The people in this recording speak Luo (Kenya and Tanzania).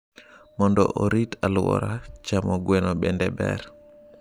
Mondo orit aluora, chamo gweno bende ber.